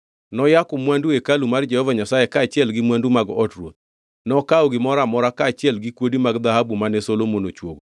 Noyako mwandu hekalu mar Jehova Nyasaye kaachiel gi mwandu mag od ruoth. Nokawo gimoro amora, kaachiel gi kuodi mag dhahabu mane Solomon ochuogo.